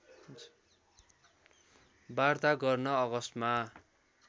वार्ता गर्न अगस्टमा